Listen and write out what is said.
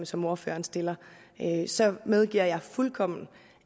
som ordføreren stillede så medgiver jeg fuldkommen